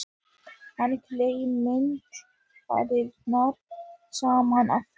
Hann klemmdi varirnar saman aftur.